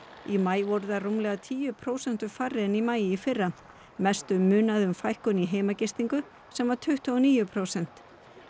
í maí voru þær rúmlega tíu prósentum færri en í maí í fyrra mestu munaði um fækkun í heimagistingu sem var tuttugu og níu prósent